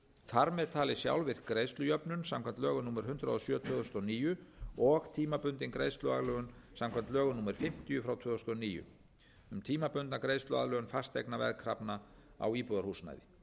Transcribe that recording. þar með talin sjálfvirk greiðslujöfnun samkvæmt lögum númer hundrað og sjö tvö þúsund og níu og tímabundin greiðsluaðlögun samkvæmt lögum númer fimmtíu tvö þúsund og níu um tímabundna greiðsluaðlögun fasteignaveðkrafna á íbúðarhúsnæði